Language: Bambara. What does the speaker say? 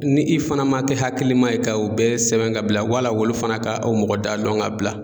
Ni i fɛnɛ ma kɛ hakilima ye ka o bɛɛ sɛbɛn ka bila olu fana ka o mɔgɔ da dɔn ka bila